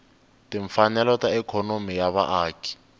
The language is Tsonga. timfanelo ta ikhonomi ya vaaki